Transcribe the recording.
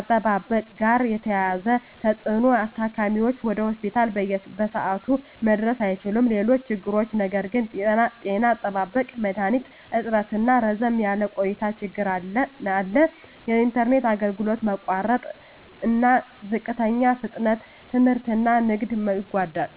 አጠባበቅ ጋር የተያያዘ ተፅዕኖ ታካሚዎች ወደ ሆስፒታል በሰዓቱ መድረስ አይችሉም። ሌሎች ችግሮች ነገር ግን… ጤና አጠባበቅ መድሀኒት እጥረትና ረዘም ያለ ቆይታ ችግር አለ። የኢንተርኔት አገልግሎት መቋረጥና ዝቅተኛ ፍጥነት ትምህርትና ንግድን ይጎዳል።